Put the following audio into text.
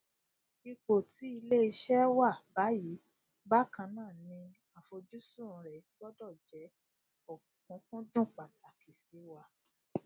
ipò tí ilé iṣé wà báyìí bákannáà ní àfojúsùn rẹ gbọdọ jẹ òkùnkùndùn pàtàkì síwá